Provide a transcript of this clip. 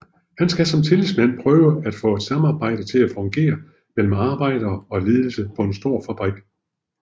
Han skal som tillidsmand prøve at få et samarbejde til at fungere mellem arbejder og ledelse på en stor fabrik